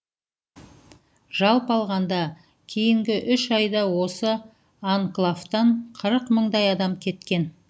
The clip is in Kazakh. жалпы алғанда кейінгі үш айда осы анклавтан қырық мыңдай адам кеткен